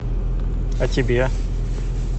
а тебе